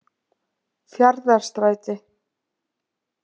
Fjarðarstræti